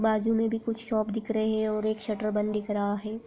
बाजू में भी कुछ शॉप दिख रहे है और एक शटर बंद दिख रहा है।